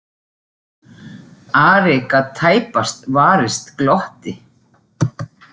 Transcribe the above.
Ari gat tæpast varist glotti.